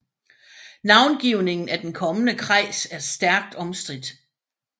Navngivningen af den kommende kreis er stærkt omstridt